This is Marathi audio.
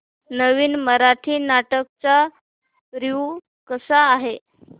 नवीन मराठी नाटक चा रिव्यू कसा आहे